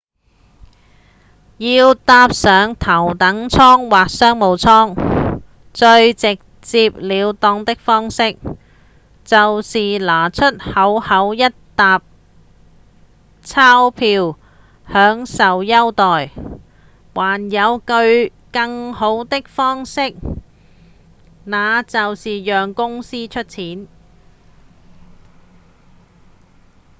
要搭上頭等艙或商務艙最直接了當的方式就是拿出厚厚一疊鈔票享受優待還有更好的方式那就是讓公司出錢